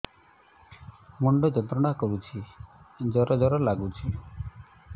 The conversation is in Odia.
ମୁଣ୍ଡ ଯନ୍ତ୍ରଣା କରୁଛି ଜର ଜର ଲାଗୁଛି